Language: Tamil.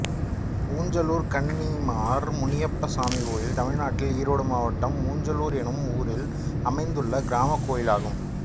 ஊஞ்சலூர் கன்னிமார் முனியப்பசாமி கோயில் தமிழ்நாட்டில் ஈரோடு மாவட்டம் ஊஞ்சலூர் என்னும் ஊரில் அமைந்துள்ள கிராமக் கோயிலாகும்